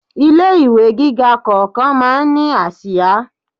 Ilé ìwé gíga kọ̀ọ̀kan máa ń ní àsìá.